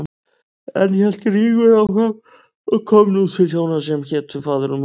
Enn hélt Rígur áfram og kom nú til hjóna sem hétu Faðir og Móðir.